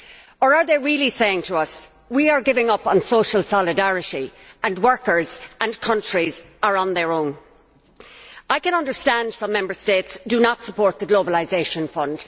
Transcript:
Or are they really saying to us that they are giving up on social solidarity and that workers and countries are on their own? I can understand that some Member States do not support the Globalisation Fund